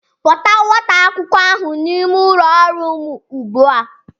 Kpọta nwata akwụkwọ ahụ n'ime ụlọ ọrụ m ugbua!